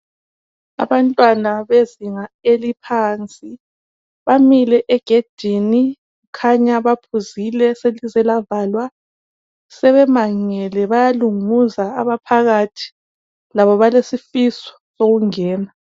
Abantwana bezinga laphansi bamile egedini kukhanya baphuzile selize lavalwa sebemangele bayalunguza abaphakathi labo balesifiso sokungena.